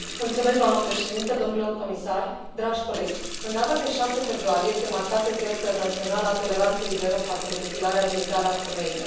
Doamnă președintă, domnilor comisari, dragi colegi, în data de 6 februarie este marcată Ziua Internațională a Toleranței Zero față de Mutilarea Genitală a Femeilor.